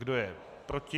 Kdo je proti?